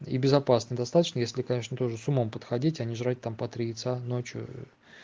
и безопасно достаточно если конечно тоже сумма подходите не жрать там по три яйца ночью